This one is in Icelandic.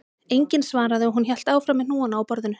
Enginn svaraði og hún hélt áfram með hnúana á borðinu